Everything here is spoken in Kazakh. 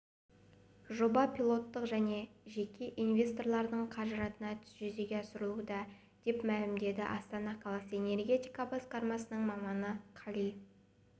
жоба пилоттық және жеке инвесторлардың қаражатына жүзеге асырылуда деп мәлімдеді астана қаласы энергетика басқармасының маманы қали